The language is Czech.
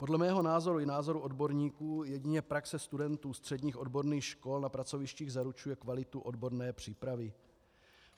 Podle mého názoru i názoru odborníků jedině praxe studentů středních odborných škol na pracovištích zaručuje kvalitu odborné přípravy.